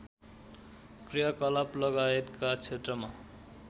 क्रियाकलापलगायतका क्षेत्रमा